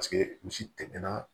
Paseke misi tɛmɛna